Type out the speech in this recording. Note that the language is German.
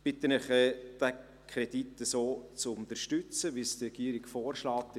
Ich bitte Sie, den Kredit so zu unterstützen, wie es die Regierung vorschlägt.